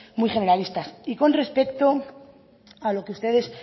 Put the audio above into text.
muy generalistas y con respecto a lo que ustedes